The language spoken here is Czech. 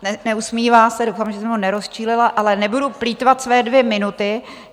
Neusmívá se, doufám, že jsem ho nerozčílila, ale nebudu plýtvat své dvě minuty.